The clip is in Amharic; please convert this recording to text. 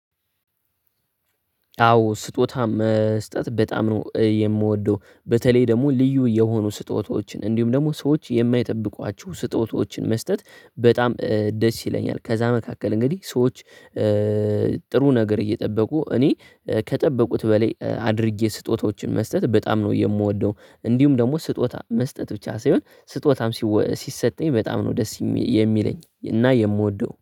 አዎ ስጦታ መስጠት በጣም ነው የምወደው በተለይ ደግሞ ልዩ የሆኑ ስጦታዎችን እንዲሁም ደግሞ ሰዎች የማይጠብቋቸው ስጦታዎችን መስጠት በጣም ደስ ይለኛል። ከዛ መካከል እንግዲህ ሰዎች ጥሩ ነገር እየጠበቁ እኔ ከጠበቁት በላይ አድርጌ ስጦታዎችን መስጠት በጣም ነው የምወደው። እንዲሁም ደግሞ ስጦታ መስጠት ብቻ ሳይሆን ስጦታም ሲሰጠኝ በጣም ነው ደስ የሚለኝ እና የምወደው